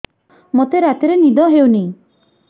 ମୋତେ ରାତିରେ ନିଦ ହେଉନି